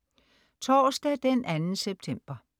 Torsdag den 2. september